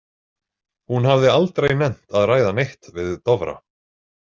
Hún hafði aldrei nennt að ræða neitt við Dofra.